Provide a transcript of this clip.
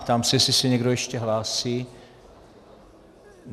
Ptám se, jestli se někdo ještě hlásí.